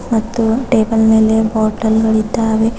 ಮತ್ತು ಟೇಬಲ್ ಮೇಲೆ ಬಾಟಲ್ ಗಳಿದ್ದಾವೆ.